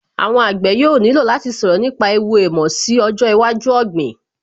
Àwọn àgbẹ̀ yóò nílò láti sọ̀rọ̀ nípa ẹ̀wù èèmọ̀ sí ọjọ́ iwájú ọ̀gbìn